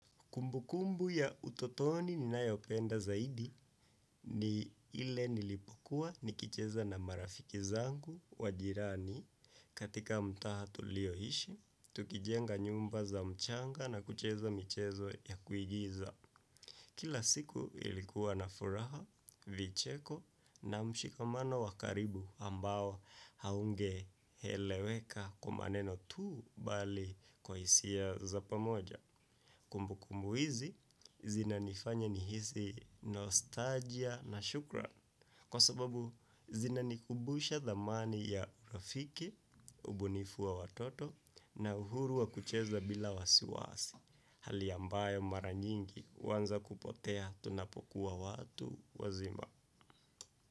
Kumbukumbu ya utotoni ninayopenda zaidi ni ile nilipokuwa nikicheza na marafiki zangu wa jirani katika mtaa tulioishi. Tukijenga nyumba za mchanga na kucheza michezo ya kuigiza. Kila siku ilikuwa na furaha, vicheko na mshikamano wa karibu ambao haungeeleweka kwa maneno tuu bali kwa hisia za pamoja. Kumbukumbu hizi zinanifanya nihisi nostalgia na shukra. Kwa sababu zinanikubusha thamani ya urafiki, ubunifu wa watoto na uhuru wa kucheza bila wasiwasi. Hali ambayo mara nyingi huanza kupotea tunapokuwa watu wazima.